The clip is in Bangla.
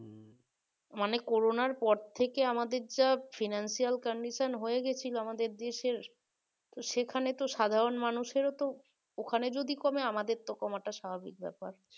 মানে করানোর পর থেকে আমাদের financial condition হয়ে গেছিল আমাদের দেশের সেখানে তো সাধারণ মানুষের ও ওখানে যদি কমে আমাদের কমা টাও স্বাভাবিক ব্যাপার